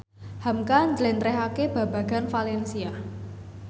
hamka njlentrehake babagan valencia